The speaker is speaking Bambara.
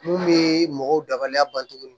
Mun bɛ mɔgɔw dabalila ban cogo min